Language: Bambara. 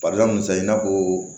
sa i n'a fɔ